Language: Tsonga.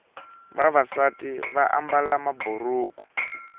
vavasati vaambala maburuku